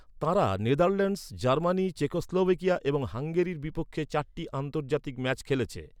তাঁরা Netherlands, Germany, Czechoslovakia এবং হাঙ্গেরির বিপক্ষে চারটি আন্তর্জাতিক ম্যাচ খেলেছে।